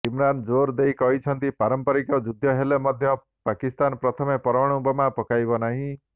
ଇମ୍ରାନ୍ ଜୋର ଦେଇ କହିଛନ୍ତି ପାରମ୍ପରିକ ଯୁଦ୍ଧ ହେଲେ ମଧ୍ୟ ପାକିସ୍ତାନ ପ୍ରଥମେ ପରମାଣୁ ବୋମା ପକାଇବ ନାହିଁ